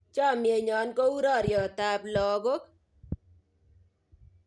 Chamyenyo ko u raryotap lakok